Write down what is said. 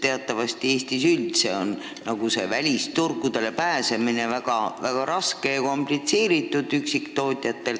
Teatavasti on Eestis üldse üksiktootjatel välisturgudele pääsemine väga raske ja komplitseeritud.